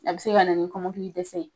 A bi se ka na ni kɔmɔkili dɛsɛ ye.